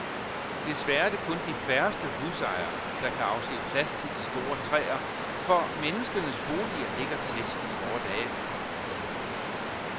Desværre er det kun de færreste husejere, der kan afse plads til de store træer, for menneskenes boliger ligger tæt i vore dage.